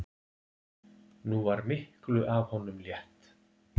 Nú var miklu af honum létt.